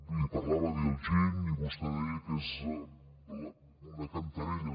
li parlava d’iljin i vostè deia que és una cantarella